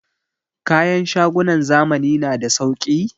Kayan shagunan zamani na da sauki?